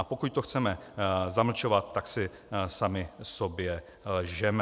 A pokud to chceme zamlčovat, tak si sami sobě lžeme.